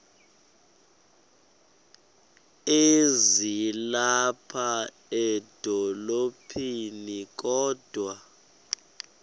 ezilapha edolophini kodwa